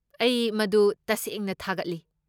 ꯑꯩ ꯃꯗꯨ ꯇꯁꯦꯡꯅ ꯊꯥꯒꯠꯂꯤ꯫